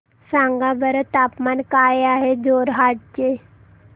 सांगा बरं तापमान काय आहे जोरहाट चे